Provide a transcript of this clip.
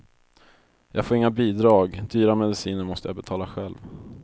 Jag får inga bidrag, dyra mediciner måste jag betala själv.